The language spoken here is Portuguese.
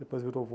Depois virou